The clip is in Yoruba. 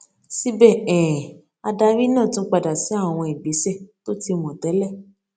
síbè um adarí náà tún padà sí àwọn ìgbesẹ tó ti mò télè